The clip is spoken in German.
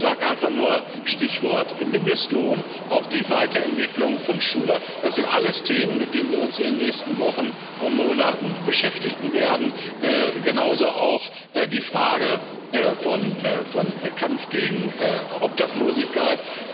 Ich sage einfach nur Stichwort Mindestlohn, auch die Weiterentwicklung von Schule, das sind alles Themen, mit denen wir uns in den nächsten Wochen und Monaten beschäftigen werden, genauso auch mit der Frage des Kampfes gegen Obdachlosigkeit.